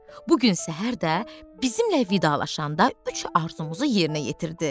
Bu gün səhər də bizimlə vidalaşanda üç arzumuzu yerinə yetirdi.